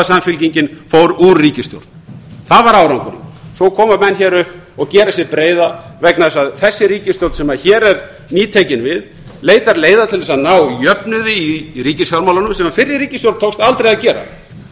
samfylkingin fór úr ríkisstjórn það var árangurinn svo koma menn upp og gera sig breiða vegna þess að þessi ríkisstjórn sem hér er nýtekin við leitar leiða til að ná jöfnuði í ríkisfjármálunum sem fyrri ríkisstjórn tókst aldrei að gera